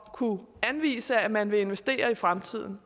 at kunne anvise at man vil investere i fremtiden